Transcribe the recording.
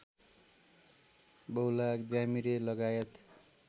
बहुलाह ज्यामिरे लगायत